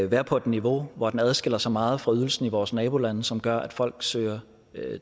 være på et niveau hvor den adskiller sig meget fra ydelsen i vores nabolande som gør at folk søger